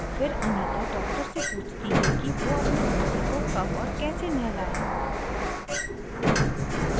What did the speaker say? फिर anita doctor से पूछती है कि वो अपने बच्चे को कब और कैसे नहलाए